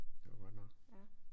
Det jo godt nok